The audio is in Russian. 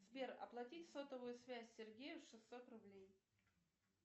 сбер оплатить сотовую связь сергею шестьсот рублей